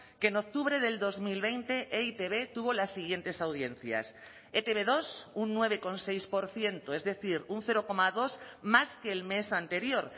que en octubre del dos mil veinte e i te be tuvo las siguientes audiencias e te be dos un nueve coma seis por ciento es decir un cero coma dos más que el mes anterior